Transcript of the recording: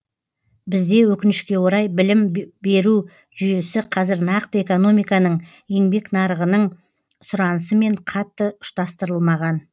бізде өкінішке орай білім беру жүйесі қазір нақты экономиканың еңбек нарығының сұранысымен қатты ұштастырылмаған